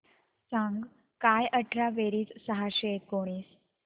सांग काय अठरा बेरीज सहाशे एकोणीस